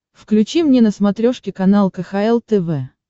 включи мне на смотрешке канал кхл тв